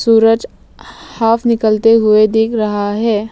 सूरज half निकलते हुए दिख रहा है।